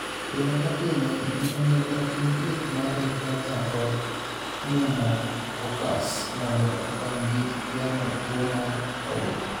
Pile ka pile, ji onego otim thieth mar influenza kod pneumococcus mondo okonygi geng'o tuo mar obo.